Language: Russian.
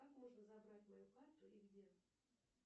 как можно забрать мою карту и где